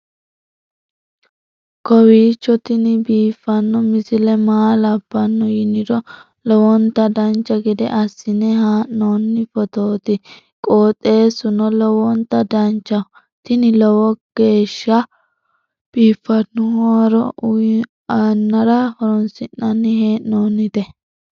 kowiicho tini biiffanno misile maa labbanno yiniro lowonta dancha gede assine haa'noonni foototi qoxeessuno lowonta danachaho. tini lowo geeshsha biiffanno haaro uyannara horoonsi'nanni hee'noonite